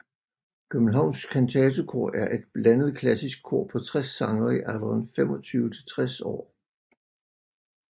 Københavns Kantatekor er et blandet klassisk kor på 60 sangere i alderen 25 til 60 år